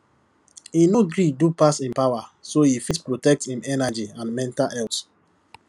e no gree do pass im power so e fit protect im energy and mental health